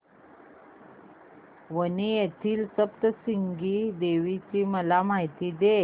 वणी येथील सप्तशृंगी देवी ची मला माहिती दे